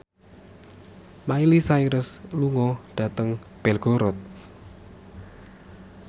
Miley Cyrus lunga dhateng Belgorod